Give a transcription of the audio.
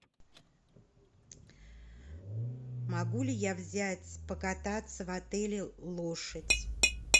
могу ли я взять покататься в отеле лошадь